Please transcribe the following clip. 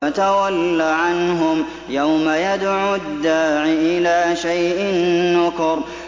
فَتَوَلَّ عَنْهُمْ ۘ يَوْمَ يَدْعُ الدَّاعِ إِلَىٰ شَيْءٍ نُّكُرٍ